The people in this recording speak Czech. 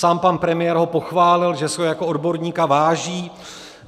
Sám pan premiér ho pochválil, že si ho jako odborníka váží.